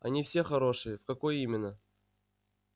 они все хорошие в какой именно